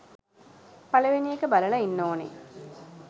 පළවෙනි එක බලල ඉන්න ඕනෙ